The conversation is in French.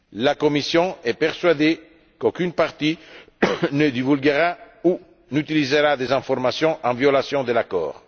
La Commission est persuadée qu'aucune partie ne divulguera ou n'utilisera des informations en violation de l'accord.